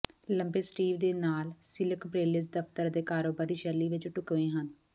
ਲੰਬੇ ਸਟੀਵ ਦੇ ਨਾਲ ਸਿਲਕ ਬ੍ਲੇਜ਼ਸ ਦਫਤਰ ਅਤੇ ਕਾਰੋਬਾਰੀ ਸ਼ੈਲੀ ਵਿੱਚ ਢੁਕਵੇਂ ਹਨ